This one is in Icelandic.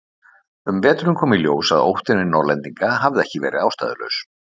Um veturinn kom í ljós að óttinn við Norðlendinga hafði ekki verið ástæðulaus.